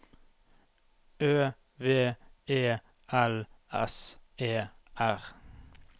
Ø V E L S E R